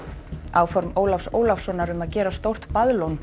áform Ólafs Ólafssonar um að gera stórt